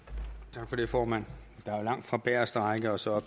tak for det formand der er jo langt fra bageste række og så